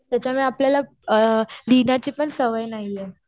त्याच्यामुळे आपल्याला लिहण्याची पण सवय नाहीये.